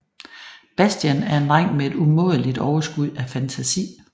Bastian er en dreng med et umådeligt overskud af fantasi